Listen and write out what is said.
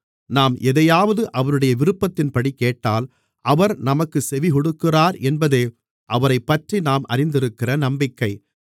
நாம் எதையாவது அவருடைய விருப்பத்தின்படி கேட்டால் அவர் நமக்குச் செவிகொடுக்கிறார் என்பதே அவரைப்பற்றி நாம் அறிந்திருக்கிற நம்பிக்கை